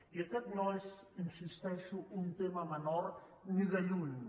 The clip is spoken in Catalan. i aquest no és hi insisteixo un tema menor ni de lluny